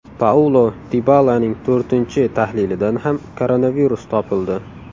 Paulo Dibalaning to‘rtinchi tahlilidan ham koronavirus topildi.